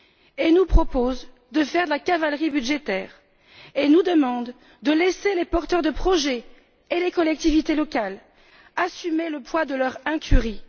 Il nous propose de faire de la cavalerie budgétaire et nous demande de laisser les porteurs de projet et les collectivités locales assumer le poids de leur incurie.